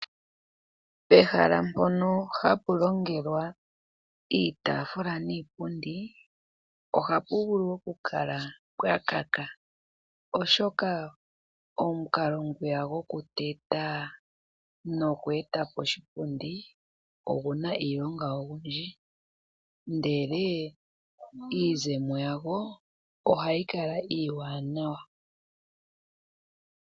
Pehala mpono hapu longelwa iitaafula niipundi ohapu vulu okukala mpwakaka oshoka omukalo gwiya gokuteta nokweetapo oshipundi oguna iilonga oyindji ndele iizemo yago ohayi kala iiwanawa.